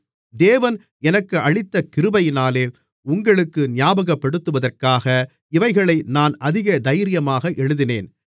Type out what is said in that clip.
தேவன் எனக்கு அளித்த கிருபையினாலே உங்களுக்கு ஞாபகப்படுத்துவதற்காக இவைகளை நான் அதிக தைரியமாக எழுதினேன்